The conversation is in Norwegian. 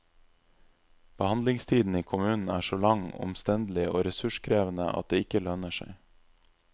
Behandlingstiden i kommunen er så lang, omstendelig og ressurskrevende at det ikke lønner seg.